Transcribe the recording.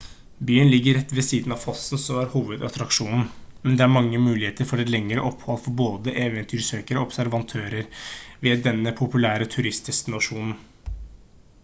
byen ligger rett ved siden av fossen som er hovedattraksjonen men det er mange muligheter for et lengre opphold for både eventyrsøkere og observatører ved denne populære turistdestinasjonen